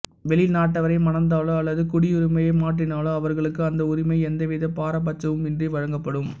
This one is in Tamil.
வெளிநாட்டவரை மணந்தாலோ அல்லது குடியுரிமையை மாற்றினாலோ அவர்களுக்கு அந்த உரிமை எந்தவித பாரபட்சமும் இன்றி வழங்கப்படும்